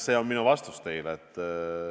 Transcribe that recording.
See on minu vastus teile.